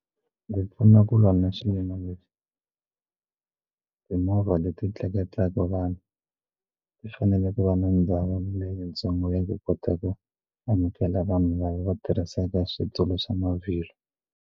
Ndzi pfuna ku lwa na leswi timovha leti tleketlaka vanhu ti fanele ku va na ndhawu leyi ntsongo ya ku kota ku amukela vanhu lava tirhisaka switulu swa mavhilwa.